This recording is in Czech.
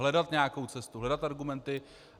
Hledat nějakou cestu, hledat argumenty.